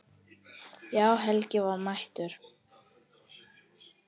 Já, Helgi var mættur.